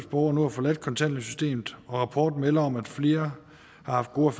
borgere nu har forladt kontanthjælpssystemet og rapporten melder om at flere har haft gode